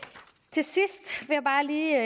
til sidst vil jeg bare lige